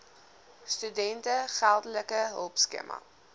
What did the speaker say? studente geldelike hulpskema